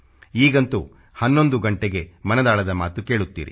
ಈಗಂತೂ 11 ಗಂಟೆಗೆ ಮನದಾಳದ ಮಾತು ಕೇಳುತ್ತೀರಿ